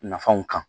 Nafanw kan